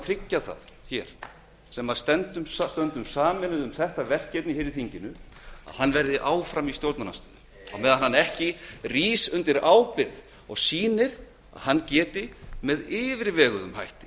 tryggja það hér sem stöndum sameinuð um þetta verkefni hér í þinginu að hann verði áfram í stjórnarandstöðu á meðan hann rís ekki undir ábyrgð og sýnir að hann geti með yfirveguðum hætti